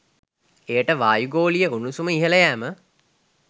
එයට වායු ගෝලීය උණුසුම ඉහළ යෑම